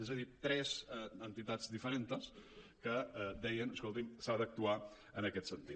és a dir tres entitats diferentes que deien escolti’m s’ha d’actuar en aquest sentit